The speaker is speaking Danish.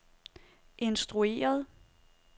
instrueret